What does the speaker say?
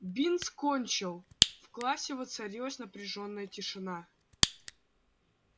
бинс кончил в классе воцарилась напряжённая тишина